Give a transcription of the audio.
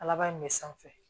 Kalaban in bɛ sanfɛ